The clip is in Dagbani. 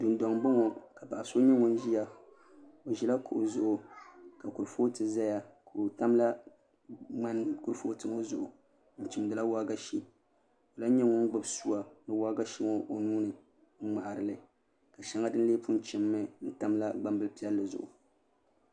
Dundoŋ ni n boŋo ka paɣa so nyɛ ŋun ʒiya o ʒila kuɣu zuɣu ka kurifooti ʒɛya ka o tamla ŋmani kurifooti ŋo zuɣu n chimdila waagashe o lahi nyɛ ŋun gbubi suwa ni waagashe ŋo o nuuni n ŋmaharili ka shɛŋa din lee pun chimmi n tamla gbambili piɛlli zuɣu